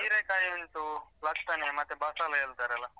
ಹಿರೇ ಕಾಯಿ ಉಂಟು, ಲತ್ತಂಡೆ ಮತ್ತೆ ಬಸಳೆ ಹೇಳ್ತಾರೆ ಅಲ.